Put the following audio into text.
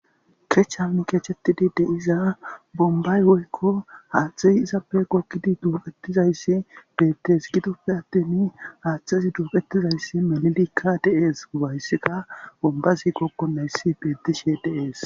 kech hamikeechettidi deiza bombay woykko haaththeyi izappe kokkidi duuqetizayssi deettees gidoppe attin haaththezi duuqetizayssi melilikka deees bayssika bombazi kokkonayssi bedishe deees